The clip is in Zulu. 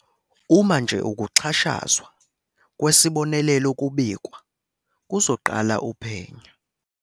"Uma nje ukuxhashazwa kwesibonelelo kubikwa, kuzoqala uphenyo."